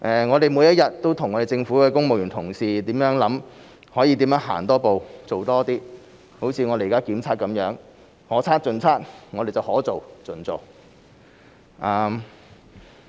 我們每天都和政府公務員同事構思可以如何多走一步、做多一些，像現在的檢測，我們是可測盡測，可做盡做。